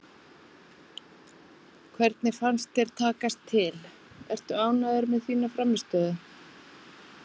Hvernig fannst þér takast til, ertu ánægður með þína frammistöðu?